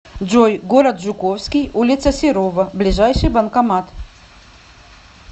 джой город жуковский улица серова ближайший банкомат